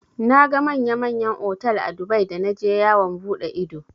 Naga manya manyan otal a Dubai da naje yawon buɗe ido.